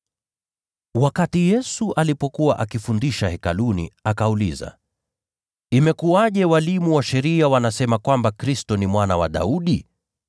Yesu alipokuwa akifundisha Hekaluni, akauliza, “Imekuwaje walimu wa sheria wanasema kwamba Kristo ni Mwana wa Daudi?